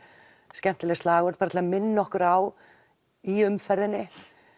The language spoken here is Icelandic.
skemmtileg slagorð bara til að minna okkur á í umferðinni